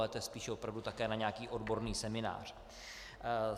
Ale to je spíš opravdu také na nějaký odborný seminář.